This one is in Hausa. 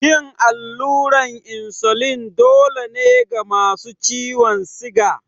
Yin allurar insulin kullum dole ne ga wasu masu ciwon siga.